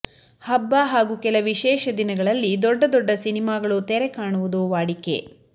ಹಬ್ಬ ಹಾಗೂ ಕೆಲ ವಿಶೇಷ ದಿನಗಳಲ್ಲಿ ದೊಡ್ಡ ದೊಡ್ಡ ಸಿನಿಮಾಗಳು ತೆರೆಕಾಣುವುದು ವಾಡಿಕೆ